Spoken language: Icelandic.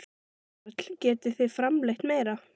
Karl: Getið þið framleitt meira?